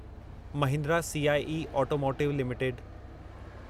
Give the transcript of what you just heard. Mahindra CIE automotive limited